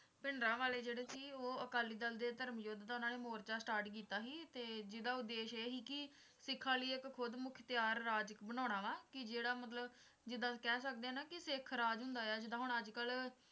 ਭਿੰਡਰਾਂਵਾਲੇ ਜਿਹੜੇ ਸੀ ਉਹ ਅਕਾਲੀ ਦਲ ਦੇ ਧਰਮ ਯੁੱਧ ਦਾ ਉਨ੍ਹਾਂ ਨੇ ਮੋਰਚਾ start ਕੀਤਾ ਸੀ ਜਿਹੜਾ ਉੱਦੇਸ਼ ਇਹ ਸੀ ਸਿੱਖਾਂ ਲਈ ਇੱਕ ਖੁਦਮੁਖਤਿਆਰ ਰਾਜ ਇੱਕ ਬਣਾਉਣਾ ਵਾ ਕਿ ਜਿਹੜਾ ਵਾ ਮਤਲਬ ਜਿਦਾਂ ਕਹਿ ਸਕਦੇ ਹਾਂ ਨਾ ਸਿੱਖ ਰਾਜ ਹੁੰਦਾ ਹੈ ਜਿੱਦਾਂ ਹੁਣ ਅੱਜ ਕੱਲ